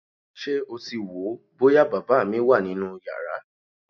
Ṣé o ti wò ó bóyá bàbá mi wà nínú yàrá?